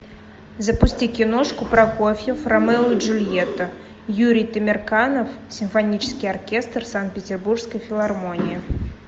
запусти киношку прокофьев ромео и джульетта юрий темирканов симфонический оркестр санкт петербургской филармонии